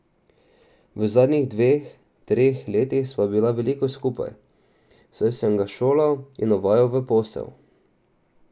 V zadnjih dveh, treh letih sva bila veliko skupaj, saj sem ga šolal in uvajal v posel.